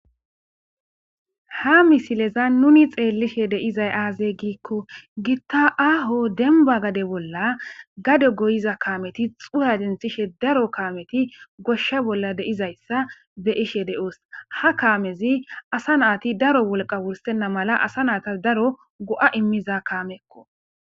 Ha misileza nuni xeellishe deizay aazey giikko gitta aaho denba gade bolla gade goyiza kaameti xuha dinthishe daro kaameti goshsha bolla deizayssa be ishe de7oos ha kaamezi asa naati daro wolqa wursenna mala asa naata daro go7a immiza kaamekko.